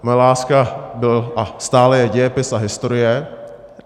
Moje láska byl a stále je dějepis a historie.